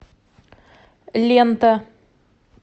лента